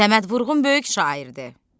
Səməd Vurğun böyük şairdir.